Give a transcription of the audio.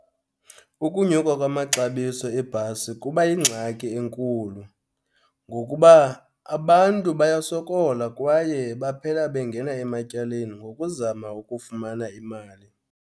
Ukunyuka kwamaxabiso ebhasi kuba yingxaki enkulu, ngokuba abantu bayasokola kwaye baphela bengena ematyaleni ngokuzama ukufumana imali.